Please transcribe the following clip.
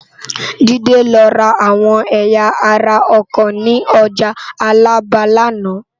Jide lò rá áwòn èyá àrá òkò ni òjá Alaba làná